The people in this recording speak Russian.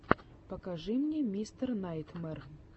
покажи мне мистер найтмэр